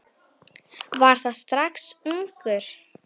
Var það strax ungur.